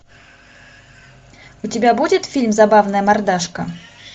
у тебя будет фильм забавная мордашка